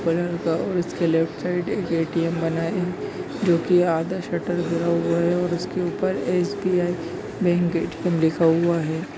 बड़ा सा और उसके लेफ्ट साइड में एक ए.टी.एम. बना है जोकी आधा शटर गिरा हुआ है और इसके ऊपर एस.बी.आई. मैन गेट पे लिखा हुआ है।